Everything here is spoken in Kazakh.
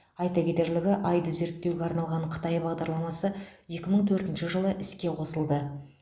айта кетерлігі айды зерттеуге арналған қытай бағдарламасы екі мың төртінші жылы іске қосылды